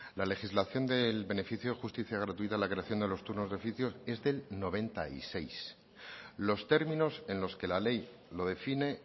la legislación del beneficio de justicia gratuita y la creación de los turnos de oficio es del mil novecientos noventa y seis los términos en los que la ley lo define